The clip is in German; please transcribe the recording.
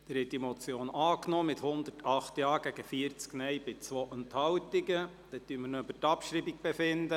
Sie haben die Motion angenommen, mit 108 Ja- zu 40 Nein-Stimmen bei 2 Enthaltungen.